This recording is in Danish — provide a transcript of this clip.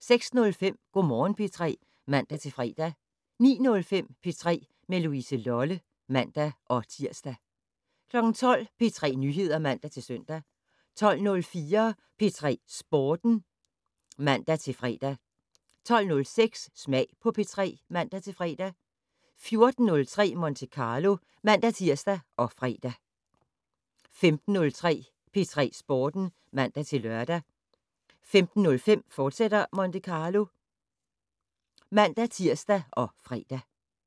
06:05: Go' Morgen P3 (man-fre) 09:05: P3 med Louise Lolle (man-tir) 12:00: P3 Nyheder (man-søn) 12:04: P3 Sporten (man-fre) 12:06: Smag på P3 (man-fre) 14:03: Monte Carlo (man-tir og fre) 15:03: P3 Sporten (man-lør) 15:05: Monte Carlo, fortsat (man-tir og fre)